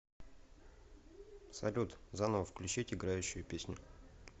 салют заново включить играющую песню